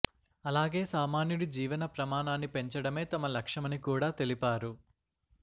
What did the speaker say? అలాగే సామాన్యుడి జీవన ప్రమాణాన్ని పెంచడమే తమ లక్ష్యమని కూడా తెలిపారు